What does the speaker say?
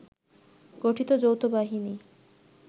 গঠিত যৌথ বাহিনী